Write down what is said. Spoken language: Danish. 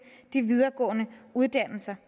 de videregående uddannelser